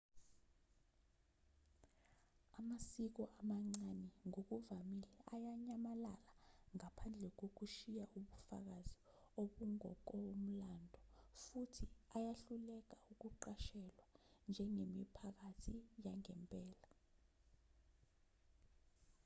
amasiko amancane ngokuvamile ayanyamalala ngaphandle kokushiya ubufakazi obungokomlando futhi ayahluleka ukuqashelwa njengemiphakathi yangempela